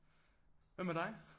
Hvad med dig?